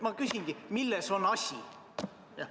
Ma küsingi: milles on asi?